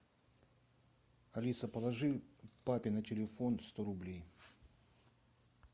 алиса положи папе на телефон сто рублей